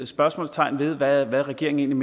spørgsmålstegn ved hvad regeringen